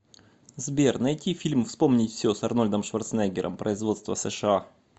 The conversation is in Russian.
сбер найти фильм вспомнить все с арнольдом шварценеггером производство сша